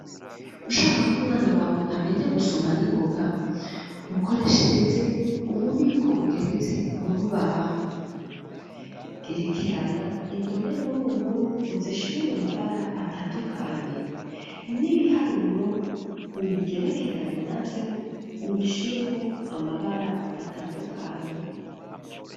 Ushaka ko umwana wawe amenya gusoma n'ingoga, mukoreshereze ububiko bugeretse murubaho, gerekeranya indome nkuru, nkuru uzishire mu mabara atandukanye, n'ibiharuro ,ubigerekeranye, navyo ubishireho amabara, atandukanye.